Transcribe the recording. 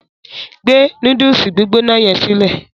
Gbe núdùùsì gbígbóná yẹn sílẹ.